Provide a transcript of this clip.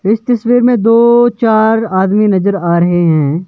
इस तस्वीर में दो चार आदमी नजर आ रहे हैं।